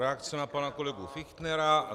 Reakce na pana kolegu Fichtnera.